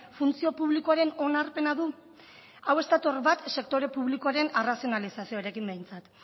funtzio publikoaren onarpena du hau ez dator bat sektore publikoaren arrazionalizaziorekin behintzat